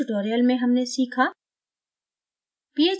इस tutorial में हमने सीखा: